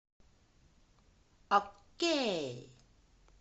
окей